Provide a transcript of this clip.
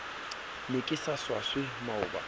ne ke sa swaswe maoba